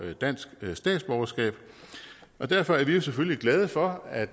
dansk statsborgerskab og derfor er vi selvfølgelig glade for at